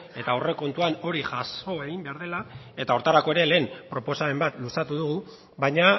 eta aurrekontuan hori jaso egin behar dela eta horretarako ere lehen proposamen bat luzatu dugu baina